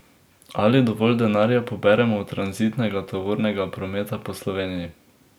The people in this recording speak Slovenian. Ali dovolj denarja poberemo od tranzitnega tovornega prometa po Sloveniji?